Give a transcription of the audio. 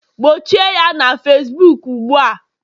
gbochie ya na Facibuku ugbu a!